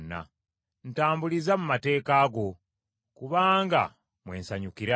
Ntambuliza mu mateeka go, kubanga mwe nsanyukira.